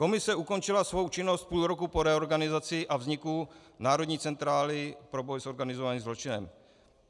Komise ukončila svou činnost půl roku po reorganizaci a vzniku Národní centrály pro boj s organizovaným zločinem.